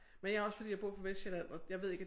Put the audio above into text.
Men jeg også fordi jeg bor på Vestsjælland og jeg ved ikke